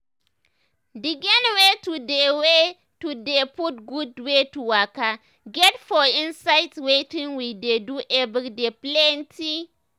d gain wey to dey wey to dey put gud wey to waka get for inside wetin we dey do eveyday dey plenty.